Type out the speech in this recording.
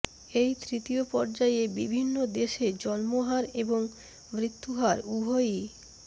এই তৃতীয় পর্যায়ে বিভিন্ন দেশে জন্মহার এবং মৃত্যুহার উভয়ই